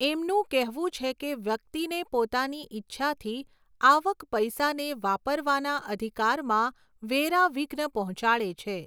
એમનું કહેવું છે કે વ્યક્તિને પોતાની ઈચ્છાથી આવક પૈસા ને વાપરવાના અધિકારમાં વેરા વિઘ્ન પહોંચાડે છે.